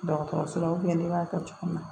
Dɔgɔtɔrɔso la ne b'a kɛ cogo min na